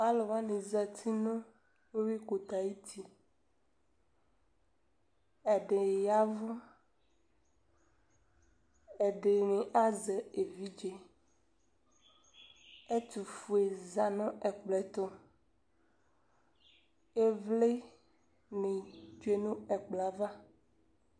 Alʋ wani zati nʋ uwikʋtɛ ayuti Ɛdi yavʋ, ɛdini azɛ evidze Ɛtʋfue za nʋ ɛkplɔ ɛtʋ Ivli ni tsue nʋ ɛkplɔ yɛ ava